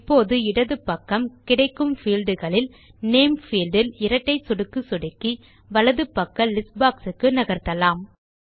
இப்போது இடது பக்கம் கிடைக்கும் பீல்ட் களில் நேம் பீல்ட் இல் இரட்டை சொடுக்கு சொடுக்கி வலது பக்க லிஸ்ட் boxக்கு நகர்த்தலாம்